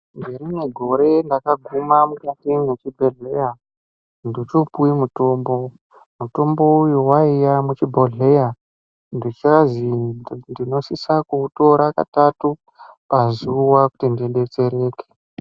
Ngerimwe gore ndakaguma mukati mwezvibhedhlera ndochopuwe mutombo, mutombo uyu waiya muchibhodhleya ndichazi ndinosisa kuitira katatu pazuwa kuti ndidetsereke.